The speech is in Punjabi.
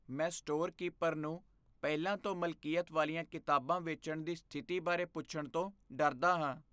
ਮੈਂ ਸਟੋਰ ਕੀਪਰ ਨੂੰ ਪਹਿਲਾਂ ਤੋਂ ਮਲਕੀਅਤ ਵਾਲੀਆਂ ਕਿਤਾਬਾਂ ਵੇਚਣ ਦੀ ਸਥਿਤੀ ਬਾਰੇ ਪੁੱਛਣ ਤੋਂ ਡਰਦਾ ਹਾਂ।